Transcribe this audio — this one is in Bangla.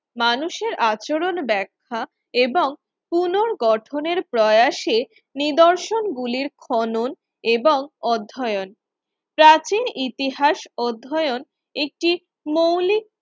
মানুষের আচরণ ব্যাখ্যা এবং পুনর্গঠনের প্রয়াসে নিদর্শন গুলির খনন এবং অধ্যয়ন প্রাচীন ইতিহাস অধ্যয়ন একটি মৌলিক